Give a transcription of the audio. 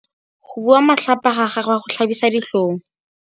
Go bua matlhapa ga gagwe go tlhabisa ditlhong.